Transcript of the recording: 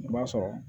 I b'a sɔrɔ